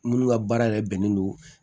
Minnu ka baara yɛrɛ bɛnnen don